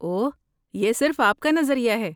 اوہ، یہ صرف آپ کا نظریہ ہے۔